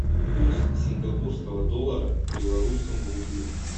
курс сингапурского доллара к белорусскому рублю